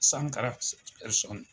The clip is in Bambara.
.